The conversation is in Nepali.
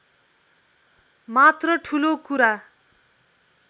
मात्र ठूलो कुरा